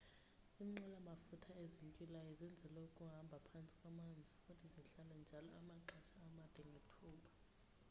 iinqwela mafutha ezintywilayo zenzelwe ukuhambha phantsi kwamanzi futhi zihlale njalo amaxesha amade ngethuba